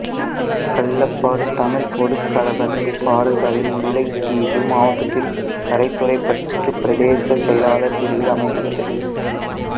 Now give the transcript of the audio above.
கள்ளப்பாடு தமிழ்ப் பொதுக் கலவன் பாடசாலை முல்லைத்தீவு மாவட்டத்தில் கரைதுறைப்பற்று பிரதேச செயலாளர் பிரிவில் அமைந்துள்ளது